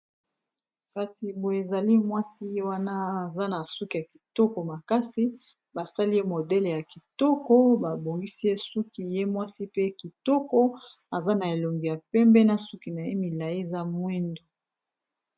Kasi boye ezali mwasi ye wana aza na suki ya kitoko makasi basali ye modele ya kitoko babongisi ye suki ye mwasi pe kitoko aza na elongi ya pembe na suki na ye milayi eza mwindu.